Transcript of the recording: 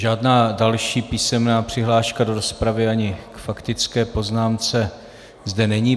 Žádná další písemná přihláška do rozpravy ani k faktické poznámce zde není.